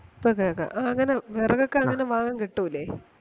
ഇപ്പൊ കേക്കാം ആ അങ്ങനെ വെറകൊക്കെ അങ്ങനെ വാങ്ങാൻ കിട്ടൂലെ